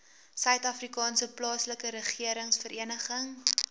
suidafrikaanse plaaslike regeringsvereniging